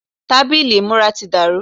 tábìlì ìmúra ti dàrú